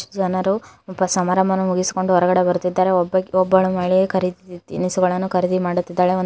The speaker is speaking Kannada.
ಜನರು ಒಪ - ಸಮಾರಂಭವನ್ನು ಮುಗಿಸಿಕೊಂಡು ಹೊರಗಡೆ ಬರುತ್ತಿದ್ದಾರೆ ಒಬ್ಬ- ಒಬ್ಬಳು ಮಹಿಳೆಯು ಖರೀದಿ ತಿನಿಸುಗಳನ್ನು ಖರೀದಿ ಮಾಡುತ್ತಿದ್ದಾಳೆ ಒಂದು --